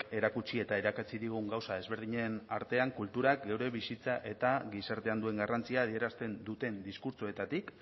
erakutsi eta irakatsi digun gauza ezberdinen artean kulturak gure bizitzan eta gizartean duen garrantzia adierazten duten diskurtsoetatik